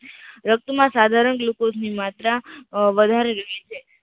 રક્ત માં સાધારણ ગ્લુકોઝ ની માત્ર વધારે રહે છે.